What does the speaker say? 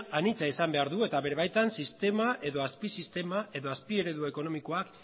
anitza izan behar du eta bere baitan sistema edo azpisistema edo azpieredu ekonomikoak